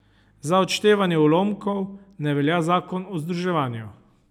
Za odštevanje ulomkov ne velja zakon o združevanju.